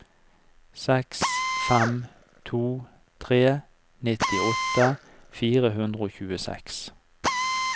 seks fem to tre nittiåtte fire hundre og tjueseks